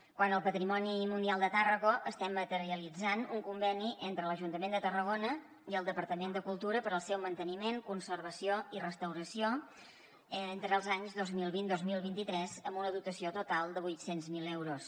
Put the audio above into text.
quant al patrimoni mundial de tàrraco estem materialitzant un conveni entre l’ajuntament de tarragona i el departament de cultura per al seu manteniment conservació i restauració entre els anys dos mil vint dos mil vint tres amb una dotació total de vuit cents miler euros